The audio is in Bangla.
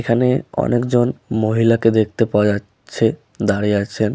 এখানে অনেকজন মহিলাকে দেখতে পাওয়া যাচ্ছে দাঁড়িয়ে আছেন।